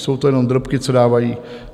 Jsou to jenom drobky, co dávají.